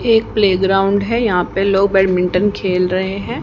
एक प्लेग्राउंड है यहां पे लोग बैडमिंटन खेल रहे हैं।